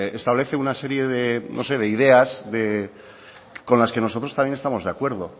establece una serie de no sé de ideas con las que nosotros también estamos de acuerdo